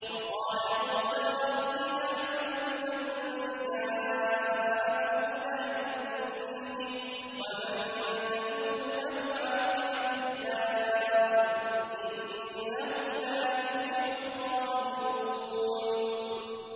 وَقَالَ مُوسَىٰ رَبِّي أَعْلَمُ بِمَن جَاءَ بِالْهُدَىٰ مِنْ عِندِهِ وَمَن تَكُونُ لَهُ عَاقِبَةُ الدَّارِ ۖ إِنَّهُ لَا يُفْلِحُ الظَّالِمُونَ